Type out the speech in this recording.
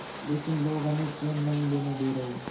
लेकिन लोग हमें चैन नहीं लेने दे रहे